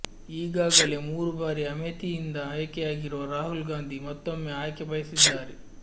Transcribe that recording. ಈಗಾಗಲೇ ಮೂರು ಬಾರಿ ಅಮೇಥಿಯಿಂದ ಆಯ್ಕೆಯಾಗಿರುವ ರಾಹುಲ್ ಗಾಂಧಿ ಮತ್ತೊಮ್ಮೆ ಆಯ್ಕೆ ಬಯಸಿದ್ದಾರೆ